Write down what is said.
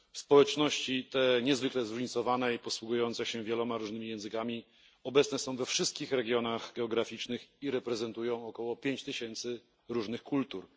Społeczności te, niezwykle zróżnicowane i posługujące się wieloma różnymi językami, obecne są we wszystkich regionach geograficznych i reprezentują około 5 tysięcy różnych kultur.